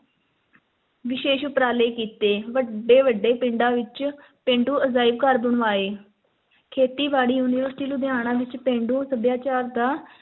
ਵਿਸ਼ੇਸ਼ ਉਪਰਾਲੇ ਕੀਤੇ, ਵੱਡੇ-ਵੱਡੇ ਪਿੰਡਾਂ ਵਿੱਚ ਪੇਂਡੂ ਅਜਾਇਬ ਘਰ ਬਣਵਾਏ, ਖੇਤੀ-ਬਾੜੀ university ਲੁਧਿਆਣਾ ਵਿੱਚ ਪੇਂਡੂ ਸੱਭਿਆਚਾਰ ਦਾ